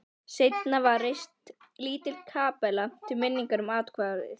Seinna var reist lítil kapella til minningar um atvikið.